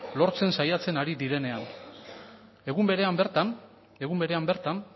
lortzen saiatzen ari direnean egun berean bertan